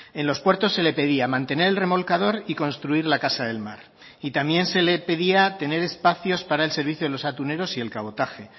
en los puertos se le pedía mantener el remolcador y construir la casa del mar y también se le pedía tener espacios para el servicio de los atuneros y el cabotaje